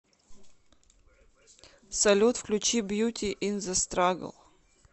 салют включи бьюти ин зе страгл